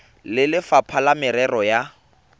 le lefapha la merero ya